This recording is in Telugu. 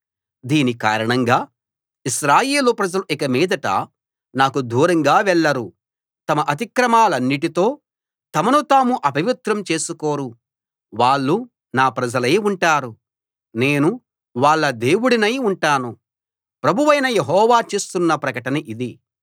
దీని కారణంగా ఇశ్రాయేలు ప్రజలు ఇక మీదట నాకు దూరంగా వెళ్ళరు తమ అతిక్రమాలన్నిటితో తమను తాము అపవిత్రం చేసుకోరు వాళ్ళు నా ప్రజలై ఉంటారు నేను వాళ్ళ దేవుడినై ఉంటాను ప్రభువైన యెహోవా చేస్తున్న ప్రకటన ఇది